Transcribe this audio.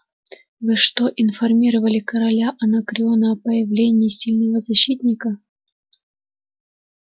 вы что информировали короля анакреона о появлении сильного защитника